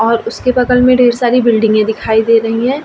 और उसके बगल मे ढेर सारी बिल्डिंगे दिखाई दे रही हैं।